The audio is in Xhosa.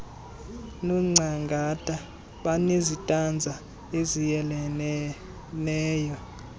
nongcangata banezitanza eziyeleleneyo